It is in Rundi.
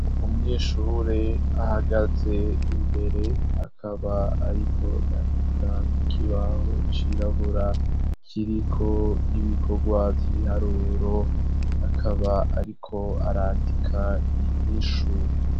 Umwishure ahagaze imbere akaba, ariko yandika kukibaho cirabura kiriko ibikorwa vy'ibiharuro akaba, ariko arandika inyishu.